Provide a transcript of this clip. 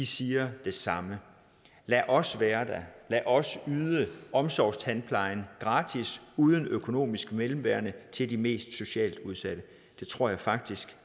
siger det samme lad os være der lad os yde omsorgstandplejen gratis uden økonomisk mellemværende til de mest socialt udsatte det tror jeg faktisk